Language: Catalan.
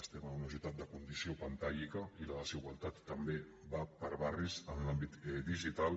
estem en una societat de condició pantàllica i la desigualtat també va per barris en l’àmbit digital